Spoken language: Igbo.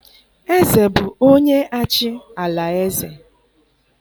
eze bụ onye-achị ala-eze.